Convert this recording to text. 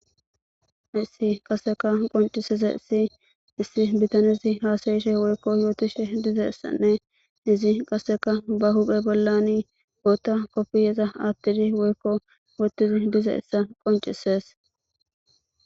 issi qaseka qoncisize issi issi bitanizi haasayishe woykko yootishe dizeyissanne izi qasseka ba huphe bollani bootta koppiyeza attidi woykko wootizi dizeyissa qoncisees